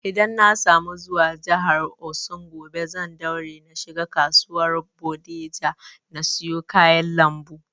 Idan na samu zuwa jihar Osun gobe, zan daure na shiga kasuwar bodija na siya kayan lambu